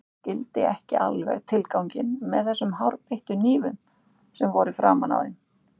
Ég skildi ekki alveg tilganginn með þessum hárbeittu hnífum sem voru framan á þeim.